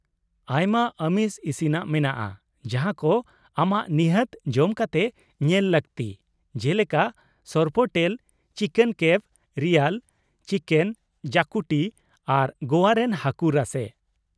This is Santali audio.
ᱟᱭᱢᱟ ᱟᱢᱤᱥ ᱤᱥᱤᱱᱟᱜ ᱢᱮᱱᱟᱜᱼᱟ ᱡᱟᱦᱟᱸ ᱠᱚ ᱟᱢᱟᱜ ᱱᱤᱦᱟᱹᱛ ᱡᱚᱢ ᱠᱟᱛᱮ ᱧᱮᱞ ᱞᱟᱹᱠᱛᱤ ᱡᱮᱞᱮᱠᱟ sorpotel, chicken cafreal, chicken xacuti ᱟᱨ ᱜᱚᱣᱟ ᱨᱮᱱ ᱦᱟᱹᱠᱩ ᱨᱟᱥᱮ ᱾